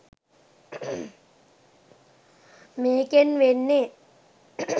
මේකෙන් වෙන්නෙ